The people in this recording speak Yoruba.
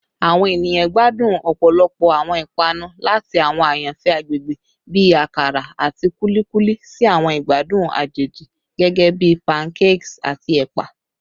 Awọn eniyan gbadun ọpọlọpọ awọn ipanu, lati awọn ayanfẹ agbegbe bi akara ati kulikuli si awọn igbadun ajeji gẹgẹbi pancakes ati ẹpa.